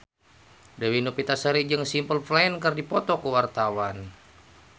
Dewi Novitasari jeung Simple Plan keur dipoto ku wartawan